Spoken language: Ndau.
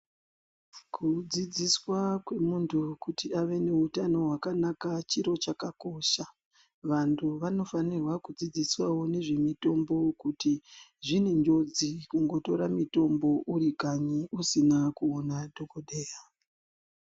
Kudzidziswa kwemuntu kuti ave neutano hwakanaka chiro chakakosha. Vantu vanofanirwa kudzidziswawo nezvemitombo kuti zvine njodzi kungotora mitombo uri kanyi usina kuona dhokodheya.